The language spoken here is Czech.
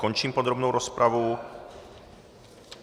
Končím podrobnou rozpravu.